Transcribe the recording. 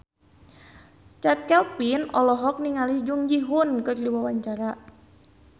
Chand Kelvin olohok ningali Jung Ji Hoon keur diwawancara